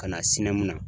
Ka na sini mun na